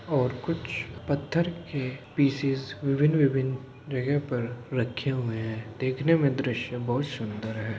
और कुछ पत्थर के पीसेस विभिन-विभिन जगह पर रखे हुए हैं। देखने में दृश्य बोहोत सुन्दर है।